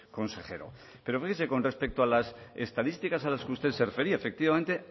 consejero pero fíjese con respecto a las estadísticas a las que usted se refería efectivamente